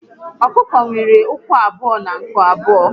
Ọkụkọ nwere ụkwụ abụọ na nku abụọ